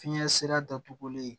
Fiɲɛ sira datugulen